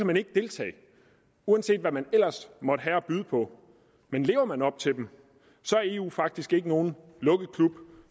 man ikke deltage uanset hvad man ellers måtte have at byde på men lever man op til dem er eu faktisk ikke nogen lukket klub